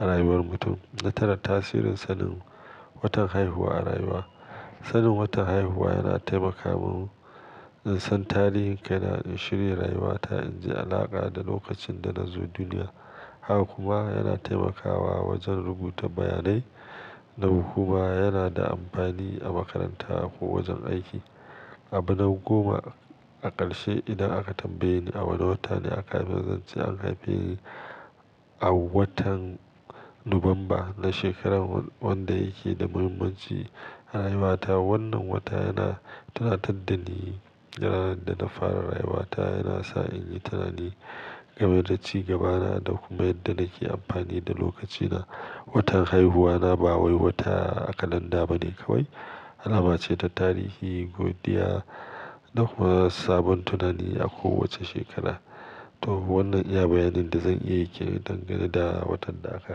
a rayuwar mutum. Na tara, tasirin sanin watan haihuwa a rayuwa. Sanin watan haihuwa yana taimaka min in san tarihin kai na, in shirya rayuwa ta, in ji alaƙa da lokacin da na zo duniya. Haka kuma yana taimakawa wajen rubuta bayanai, Nan kuma yana da amfani a makaranta ko wajen aiki. Abu na goma, a ƙarshe idan aka tambaye ni a wane wata ne aka haife ni, zan ce an haife ni, a watan Nuwamba na shekarar wanda yake da muhimmanci a rayuwa ta. Wannan wata yana tunatar da ni, ranar da na fara rayuwa ta, yana sa in yi tunani game da ci gabana da kuma yadda nake amfani da lokaci na. Watan haihuwa na ba wai wata a kalanda ba ne kawai, alama ce ta tarihi, godiya da kuma sabon tunani a kowace shekara. To wannan iya bayanin da zan iya yi kenan dangane da watan da aka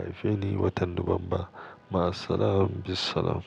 haife ni, watan Nuwamba. Ma salaman, be salam.